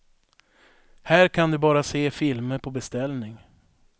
Här kan du bara se filmer på beställning.